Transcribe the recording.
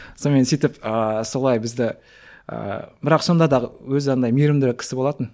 сонымен сөйтіп ыыы солай бізді ыыы бірақ сонда да өзі андай мейірімді кісі болатын